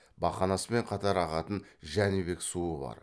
бақанаспен қатар ағатын жәнібек суы бар